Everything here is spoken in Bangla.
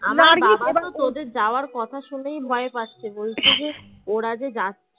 তোদের যাওয়ার কথা শুনেই ভয় পাচ্ছে বলছে যে ওরা যে যাচ্ছে